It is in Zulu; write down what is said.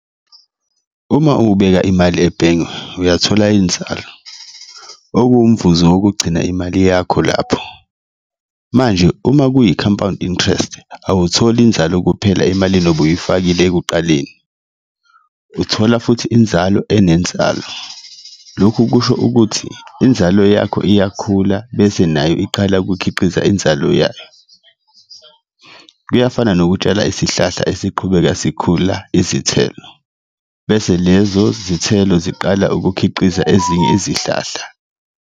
Uma ubeka imali ebhenge uyathola inzalo okuwumvuzo wokugcina imali yakho lapho, manje uma kuyi-compound interest awutholi inzalo kuphela emalini obuyifakile ekuqaleni, uthola futhi inzalo enenzalo. Lokhu kusho ukuthi inzalo yakho iyakhula bese nayo iqala ukukhiqiza inzalo yayo, kuyafana nokutshala isihlahla esiqhubeka sikhula izithelo bese lezo zithelo ziqala ukukhiqiza ezinye izihlahla.